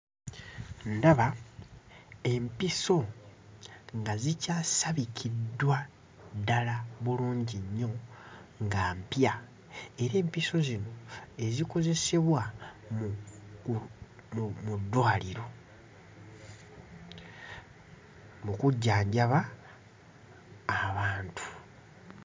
Ndaba empiso nga zikyasabikiddwa ddala bulungi nnyo nga mpya era empiso zino ezikozesebwa mu gu mu mu ddwaliro, mu kujjanjaba abantu.